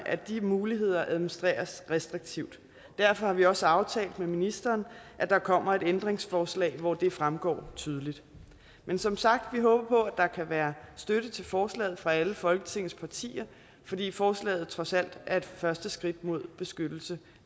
at de muligheder administreres restriktivt derfor har vi også aftalt med ministeren at der kommer et ændringsforslag hvor det fremgår tydeligt men som sagt vi håber på at der kan være støtte til forslaget fra alle folketingets partier fordi forslaget trods alt er et første skridt mod beskyttelse